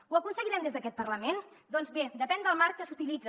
ho aconseguirem des d’aquest parlament doncs bé depèn del marc que s’utilitza